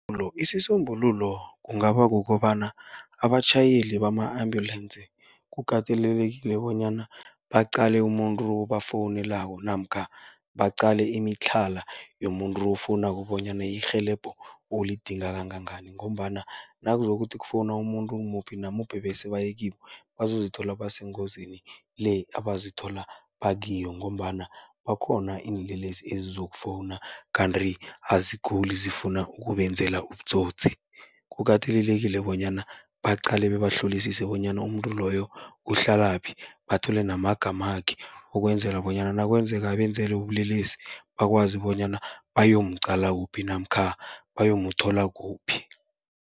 isisombululo kungaba kukobana abatjhayeli bama-ambulance, kukatelelekile bonyana baqale umuntu obafowunelako namkha baqale imitlhala yomuntu ofowunako bonyana irhelebho ulidinga kangangani. Ngombana nakuzokuthi kufowuna umuntu muphi namuphi bese baye kibo, bazozithola basengozini le abazithola bakiyo. Ngombana bakhona iinlelesi ezizokufowuna kanti aziguli, zifuna ukubenzela ubutsotsi. Kukatelelekile bonyana baqale bebahlolisise bonyana umuntu loyo uhlalaphi, bathole namagamakhe ukwenzela bonyana nakwenzeka abenzele ubulelesi, bakwazi bonyana bayomqala kuphi namkha bayomthola kuphi.